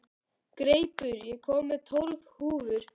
Greipur, ég kom með tólf húfur!